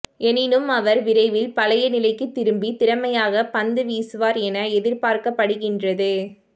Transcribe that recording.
எனினும் அவர் விரைவில் பழைய நிலைக்கு திரும்பி திறமையாக பந்துவீசுவார் என எதிர்பார்க்கப்படுகின்றது